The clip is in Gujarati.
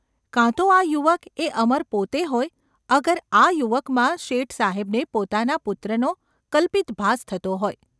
કાં તો આ યુવક એ અમર પાતે હોય અગર આ યુવકમાં શેઠસાહેબને પોતાના પુત્રનો કલ્પિત ભાસ થતો હોય.